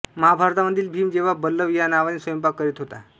महाभारतामधील भीम जेव्हा बल्लव या नावाने स्वयंपाक करीत होता